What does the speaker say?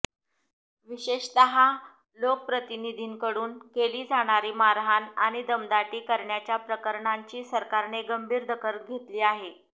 विशेषतः लोकप्रतिनिधींकडून केली जाणारी मारहाण आणि दमदाटी करण्याच्या प्रकरणांची सरकारने गंभीर दखल घेतली आहे